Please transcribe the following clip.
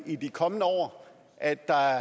i de kommende år at der